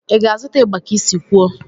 Ị ga-azụta igba ka isi kwuo?